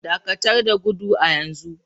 Dakatar da gudu a yanzu!